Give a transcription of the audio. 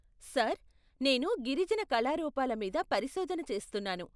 Sir, నేను గిరిజన కళారూపాల మీద పరిశోధన చేస్తున్నాను.